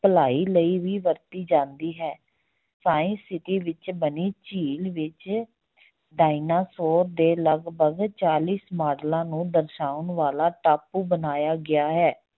ਭਲਾਈ ਲਈ ਵੀ ਵਰਤੀ ਜਾਂਦੀ ਹੈ science city ਵਿੱਚ ਬਣੀ ਝੀਲ ਵਿੱਚ ਡਾਇਨਾਸੋਰ ਦੇ ਲੱਗਭਗ ਚਾਲੀਸ ਮਾਡਲਾਂ ਨੂੰ ਦਰਸਾਉਣ ਵਾਲਾ ਟਾਪੂ ਬਣਾਇਆ ਗਿਆ ਹੈ।